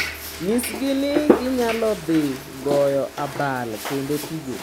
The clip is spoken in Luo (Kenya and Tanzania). Nyisgi ni ginyalo dhi goyo abal kendo tugo .